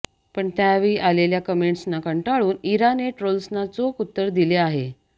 पण त्यावेळी आलेल्या कमेंट्सना कंटाळून इराने ट्रोल्सना चोख उत्तर दिले आहे